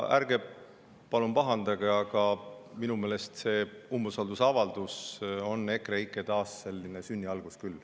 Ärge palun pahandage, aga minu meelest see umbusaldusavaldus on küll selline EKREIKE taassünni algus.